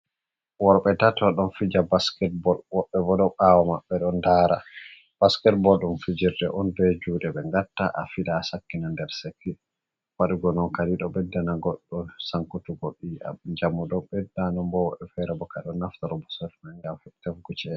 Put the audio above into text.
Worɓe tato ɗon fija basiket boll. Woddɓe bo ɗon ɓawo maɓɓe ɗo ndara. Basiket boll ɗum fijirde on ɓe juɗe ɓe gatta a fiɗa a Sakkina nder sannge, waɗugo non kadi ɗo ɓedda na goɗɗo sankutuggo yiyam. Njamu ɗon ɓedda nden bo woɗɓe fere ɗo naftoro bososel ɗo ngam tefugo chede.